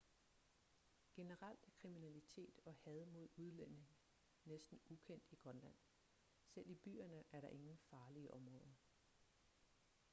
generelt er kriminalitet og had mod udlændinge næsten ukendt i grønland selv i byerne er der ingen farlige områder